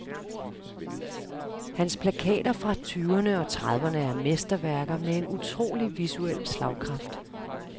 Hans plakater fra tyverne og trediverne er mesterværker med en utrolig visuel slagkraft.